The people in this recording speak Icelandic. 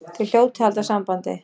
Þið hljótið að halda sambandi.